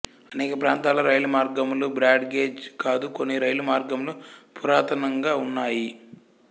అనేక ప్రాంతాల్లో రైలు మార్గములు బ్రాడ్ గేజ్ కాదు కొన్ని రైలు మార్గములు పురాతనంగా ఉన్నాయి